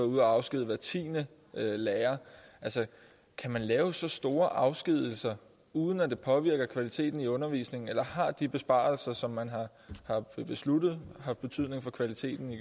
ude at afskedige hver tiende lærer altså kan man lave så stort afskedigelser uden at det påvirker kvaliteten i undervisningen eller har de besparelser som man har besluttet haft betydning for kvaliteten i